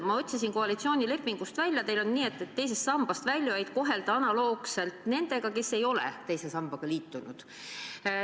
Ma otsisin koalitsioonilepingust välja, et teil on nii, et teisest sambast väljujaid tuleb kohelda analoogselt nendega, kes ei ole teise sambaga liitunud.